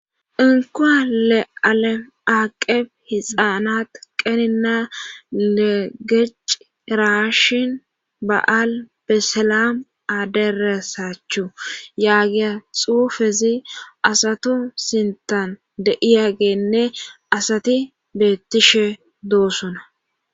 Inkowale alem aaqeb hixaanat qenina legeci raashin ba7al besselam aderesachu yaagiya xuufezi asatu sintan deiyagenne asati beettishe doossona